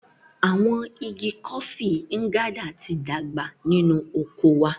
Awọn ìgi Kofi Nganda ti dàgbà nínú oko wà